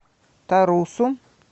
тарусу